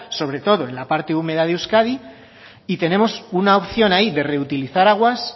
sobre todo en la parte húmeda de euskadi y tenemos una opción ahí de reutilizar aguas